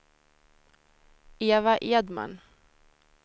Eva Edman